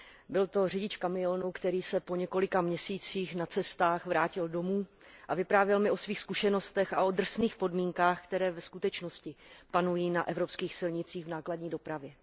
Byl to řidič kamionu, který se po několika měsících na cestách vrátil domů, a vyprávěl mi o svých zkušenostech a o drsných podmínkách, které ve skutečnosti panují na evropských silnicích v nákladní dopravě.